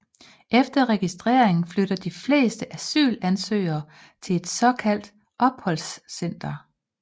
Efter registrering flytter de fleste asylansøgerne til et såkaldt opholdscenter